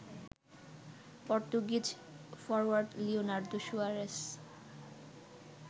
Portuguese forward Leonardo Suarez